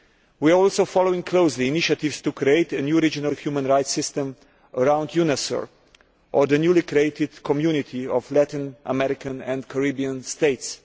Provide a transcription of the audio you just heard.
We are also following closely initiatives to create a new regional human rights system around UNASUR or the newly created Community of Latin American and Caribbean States.